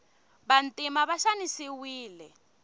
vantima va xanisiwile